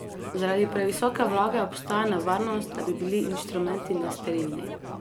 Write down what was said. Zaradi previsoke vlage obstaja nevarnost, da bi bili inštrumenti nesterilni.